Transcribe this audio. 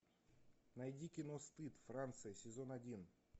найди кино стыд франция сезон один